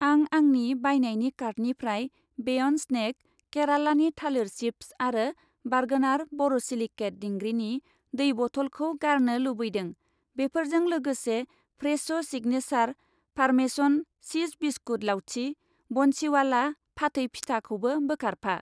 आं आंनि बायनायनि कार्टनिफ्राय बेयन्द स्नेक केरालानि थालिर चिप्स आरो बार्गनार बर'सिलिकेट दिंग्रिनि दै बथल खौ गारनो लुबैदों। बेफोरजों लोगोसे फ्रेस' सिगनेसार पारमेसन चिज बिस्कुट लाउथि, बन्सिवाला फाथै फिथा खौबो बोखारफा।